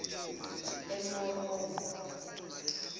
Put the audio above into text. emeromo